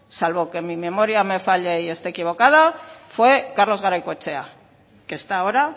salvo que mi memoria me falle y esté equivocada fue carlos garaikoetxea que está ahora